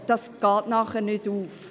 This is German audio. das geht nachher nicht auf.